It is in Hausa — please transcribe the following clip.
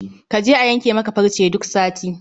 Kaje a yanke maka farce duk sati